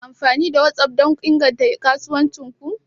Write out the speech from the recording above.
Kuna amfani da WhatsApp don inganta kasuwancin ku?